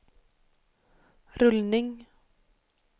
rullning